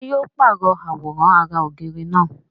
ṣé yóò pàrọ̀ àwòrán ara ògiri náà?